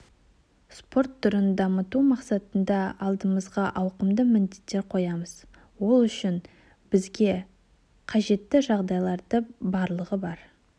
спорт түрін дамыту мақсатында алдымызға ауқымды міндеттер қоямыз ол үшін бізге қажетті жағдайлардың барлығы бар